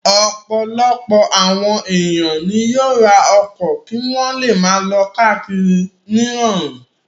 Ọ̀pọ̀lọpọ̀ àwọn ènìyàn ni yóò ra ọkọ̀ kí wọ́n le máa lọ káàkiri nírọ̀rùn.